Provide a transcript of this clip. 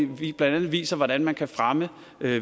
blandt andet viser hvordan man kan fremme